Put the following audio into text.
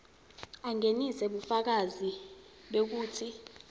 angenise bufakazi bekutsi